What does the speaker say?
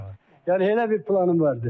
Yəni elə bir planım var idi.